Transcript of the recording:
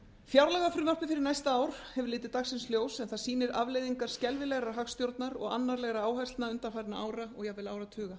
fjárlagafrumvarpið fyrir næsta ár hefur litið dagsins ljós en það sýnir afleiðingar skelfilegrar hagstjórnar og annarlegra áherslna undanfarandi ára og jafnvel áratuga